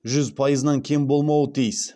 жүз пайызынан кем болмауы тиіс